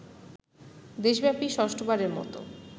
দেশব্যাপী ষষ্ঠ বারের মত